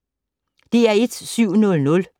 DR1